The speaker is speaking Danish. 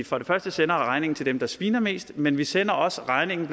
for det første sender regningen til dem der sviner mest men vi sender også regningen